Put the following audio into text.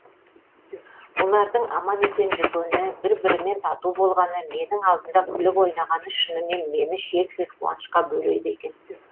олардың аман есен жүргені бір бірімен тату болғаны менің алдымда күліп ойнағаны шынымен мені шексіз қуанышқа бөлейді екен